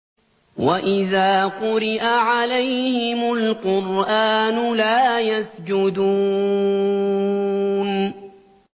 وَإِذَا قُرِئَ عَلَيْهِمُ الْقُرْآنُ لَا يَسْجُدُونَ ۩